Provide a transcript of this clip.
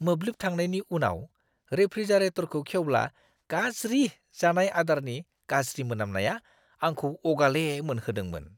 मोब्लिब थांनायनि उनाव रेफ्रिजारेटरखौ खेवब्ला गाज्रि जानाय आदारनि गाज्रि मोनामनाया आंखौ अगाले मोनहोदोंमोन।